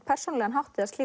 persónulegan hátt